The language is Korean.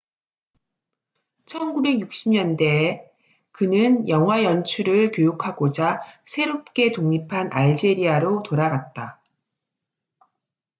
1960년대에 그는 영화 연출을 교육하고자 새롭게 독립한 알제리아로 돌아갔다